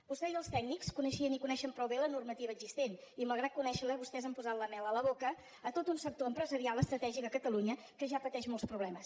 vostè i els tècnics coneixien i coneixen prou bé la normativa existent i malgrat conèixer la vostès han posat la mel a la boca a tot un sector empresarial estratègic a catalunya que ja pateix molts problemes